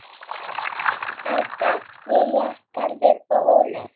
Helga, Lilja, Garðar og Ólöf.